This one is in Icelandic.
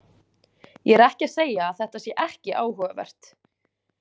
Ég er ekki að segja að þetta sé ekki áhugavert.